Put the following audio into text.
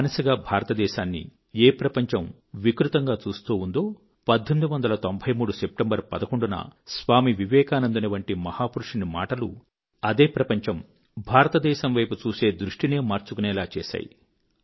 బానిసగా భారతదేశాన్ని ఏ ప్రపంచం వికృతంగా చూస్తూ ఉండిందో 11సెప్టెంబర్ 1893 న స్వామీ వివేకానందుని వంటి మహాపురుషుని మాటలు అదే ప్రపంచం భారతదేశం వైపు చూసే దృష్టినే మార్చుకునేలా చేశాయి